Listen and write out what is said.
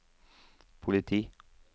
politi